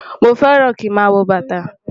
Mọ fẹ́ràn kí mà wọ́ bátà.